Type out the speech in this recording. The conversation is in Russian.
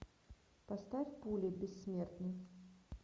поставь пули бессмертный